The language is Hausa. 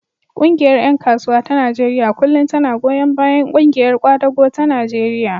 Ƙungiyar ƴan kasuwa ta Najeriya kullum tana goyon bayan ƙungiyar ƙwadago ta Najeriya.